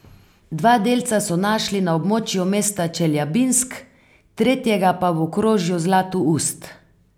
Dva delca so našli na območju mesta Čeljabinsk, tretjega pa v okrožju Zlatoust.